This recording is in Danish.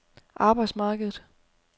arbejdsmarkedet